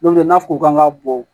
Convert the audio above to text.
N'o tɛ n'a fɔ ko k'an ka bɔ